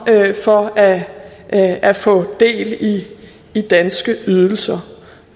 for at at få del i danske ydelser